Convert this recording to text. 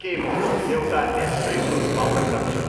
के म एउटा एस्प्रेसो पाउन सक्छु?